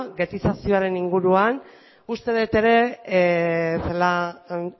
ghettizazioaren inguruan uste dut ere celaá